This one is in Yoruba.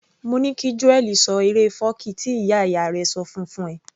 Mo ní kí Joel ṣọ eré fọ́ọ̀kí tí ìyá ìyá rẹ̀ ṣọ fún -un fún ẹ